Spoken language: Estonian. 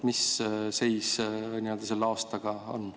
Mis seis selle aastaga on?